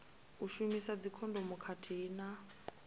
u shumisa dzikhondomu khathihi na